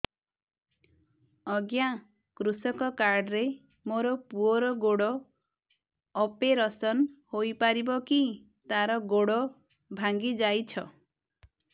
ଅଜ୍ଞା କୃଷକ କାର୍ଡ ରେ ମୋର ପୁଅର ଗୋଡ ଅପେରସନ ହୋଇପାରିବ କି ତାର ଗୋଡ ଭାଙ୍ଗି ଯାଇଛ